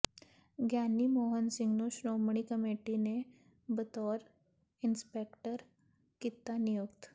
ਗਿਆਨੀ ਮੋਹਨ ਸਿੰਘ ਨੂੰ ਸ਼ੋ੍ਰਮਣੀ ਕਮੇਟੀ ਨੇ ਬਤੌਰ ਇੰਸਪੈਕਟਰ ਕੀਤਾ ਨਿਯੁਕਤ